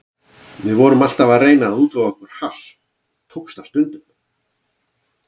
Við vorum alltaf að reyna að útvega okkur hass og tókst það stundum.